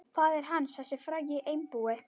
Faðir hans, þessi frægi einbúi.